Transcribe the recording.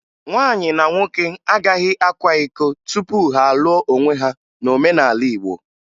Nwaanyị na nwoke agaghị akwa iko tupu ha alụọ onwe ha n'omenala Igbo